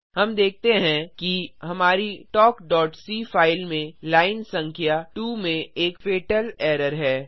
हम देखते हैं कि हमारी talkसी फाइल में लाइन संख्या 2 में एक फतल एरर है